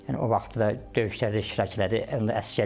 Yəni o vaxtı da döyüşlərdə iştirak elədi, onda əsgər idi.